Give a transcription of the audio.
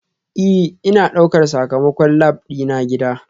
Ee, Ina ɗaukar sakamakon lab dina gida